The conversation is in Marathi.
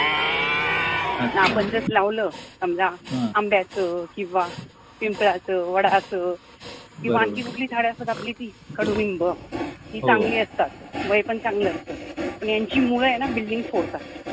आणि आपण जर लावलं समजा आंब्याचं किंवा पिंपळाचं, वडाचं किंवा आणखी कुठली झाडं असतात आपली ती कडुलिंब हि चांगली असतात, वय पण चांगलं असत पण यांची यांची मुळं आहे building ना फोडतात